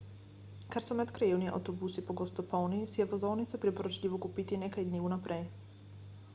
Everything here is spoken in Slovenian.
ker so medkrajevni avtobusi pogosto polni si je vozovnico priporočljivo kupiti nekaj dni vnaprej